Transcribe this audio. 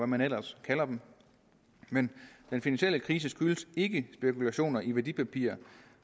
man ellers kalder det men den finansielle krise skyldes ikke spekulationer i værdipapirer